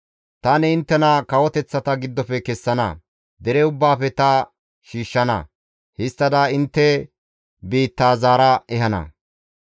« ‹Tani inttena kawoteththata giddofe kessana; dere ubbaafe ta shiishshana. Histtada inttena intte biitta zaara ehana.